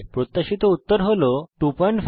প্রত্যাশিত উত্তর হল 250